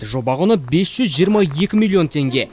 жоба құны бес жүз жиырма екі миллион теңге